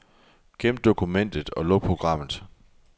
Gem dokumentet og luk programmet.